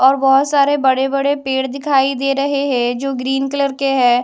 और बहुत सारे बड़े बड़े पेड़ दिखाई दे रहे है जो ग्रीन कलर के है।